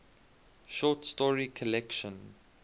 short story collection